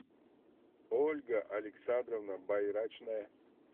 ольга александровна байрачная